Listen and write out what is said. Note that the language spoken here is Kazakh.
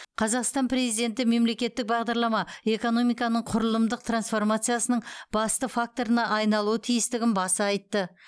қазақстан президенті мемлекеттік бағдарлама экономиканың құрылымдық трансформациясының басты факторына айналуы тиістігін баса айтты